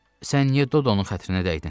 Sən niyə Dodonun xətrinə dəydin?